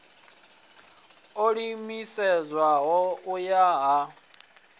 o ḓiimiselaho u ya u